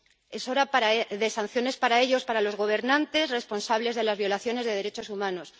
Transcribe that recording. Es hora de sanciones para ellos, para los gobernantes responsables de las violaciones de derechos humanos.